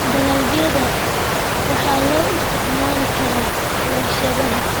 Dalagga waxaa loo isticmaali karaa warshadaha.